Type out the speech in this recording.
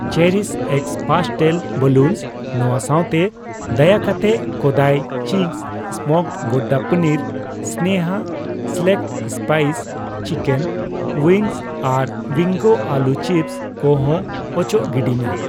CherishX pastel balloon ᱱᱚᱣᱟ ᱥᱟᱣᱛᱮ, ᱫᱟᱭᱟᱠᱟᱛᱮ ᱠᱳᱫᱟᱭ cheese smoked gouda paneer, Sneha select spice chicken wings ᱟᱨ ᱵᱤᱝᱜᱳ ᱟᱹᱞᱩ ᱪᱤᱯᱥ ᱠᱩ ᱦᱚᱸ ᱚᱪᱚᱜ ᱜᱤᱰᱤᱭ ᱢᱮ ᱾